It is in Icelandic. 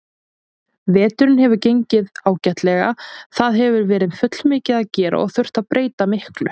Veturinn hefur gengið ágætlega, það hefur verið fullmikið að gera og þurft að breyta miklu.